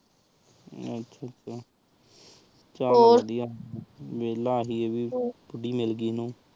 ਆਚਾ ਚਲ ਵਾਦਿਯ ਵੇਲ੍ਲਾ ਸੀ ਆਹ ਵੀ ਕੁੜੀ ਮਿਲ ਗਯੀ ਓਹਨੁ